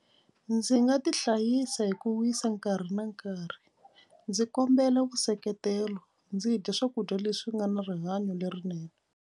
Ndzi nga ti hlayisa hi ku wisa nkarhi na nkarhi. Ndzi kombela vuseketelo ndzi dya swakudya leswi nga na rihanyo lerinene.